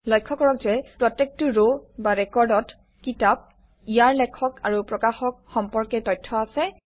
লক্ষ্য কৰক যে প্ৰত্যেকটো ৰ বা ৰেকৰ্ডত কিতাপ ইয়াৰ লেখক আৰু প্ৰকাশক সম্পৰ্কে তথ্য আছে